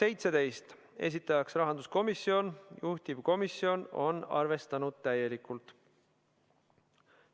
17, esitajaks on rahanduskomisjon ja juhtivkomisjon on arvestanud seda täielikult.